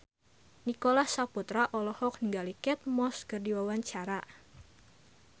Nicholas Saputra olohok ningali Kate Moss keur diwawancara